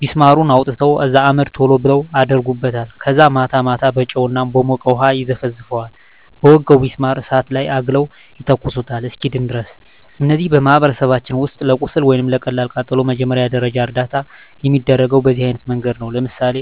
ቢስማሩን አውጥተው ከዛ አመድ ቶሎ ብለው አደርጉበታል ከዛ ማታ ማታ በጨው እና በሞቀ ውሀ ይዘፈዝፈዋል በወጋው ቢስማር እሳት ላይ አግለው ይተኩሱታል እስኪድን ድረስ። እነዚህ በማኅበረሰባችን ውስጥ ለቁስል ወይም ለቀላል ቃጠሎ መጀመሪያ ደረጃ እርዳታ የሚደረገው በዚህ አይነት መንገድ ነው። ለምሳሌ